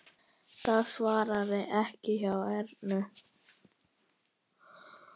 Það svarar ekki hjá Ernu.